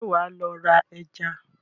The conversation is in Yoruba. Ṣé wàá lọ ra ẹja?